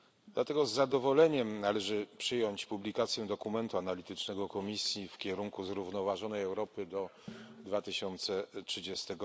Dlatego z zadowoleniem należy przyjąć publikację dokumentu analitycznego Komisji W kierunku zrównoważonej Europy do 2030